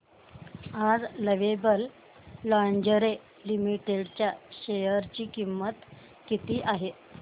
आज lovable lingerie limited च्या share ची किंमत किती आहे